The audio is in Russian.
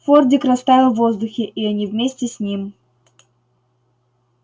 фордик растаял в воздухе и они вместе с ним